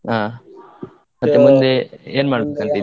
ಹಾ ಮತ್ತೆ ಮುಂದೆ ಏನ್ ಮಾಡ್ಬೇಕಂತಿದಿರ ?